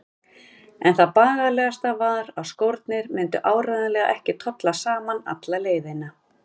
En það bagalegasta var að skórnir myndu áreiðanlega ekki tolla saman alla leiðina.